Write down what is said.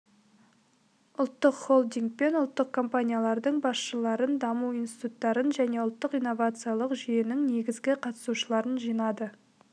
ұлттық холдинг пен ұлттық компаниялардың басшыларын даму институттарын және ұлттық инновациялық жүйенің негізгі қатысушыларын жинады